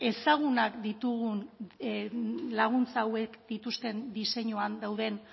ezagunak ditugu laguntza hauek dituzten diseinuan dauden